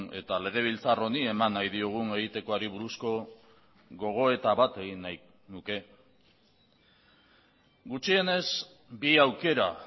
eta legebiltzar honi eman nahi diogun egitekoari buruzko gogoeta bat egin nahi nuke gutxienez bi aukera